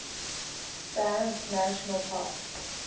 banff national park